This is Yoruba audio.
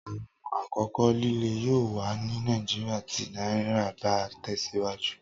Awọn akoko lile yoo wa ni Naijiria ti naira ba tẹsiwaju